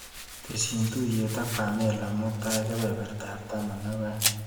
Tesyi tuiyet ak Pamela mutai kebebertap taman ak aeng.